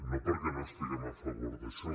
no perquè no estiguem a favor d’això